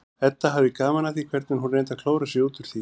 Edda hafði gaman af því hvernig hún reyndi að klóra sig út úr því.